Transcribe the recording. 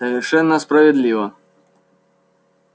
совершенно справедливо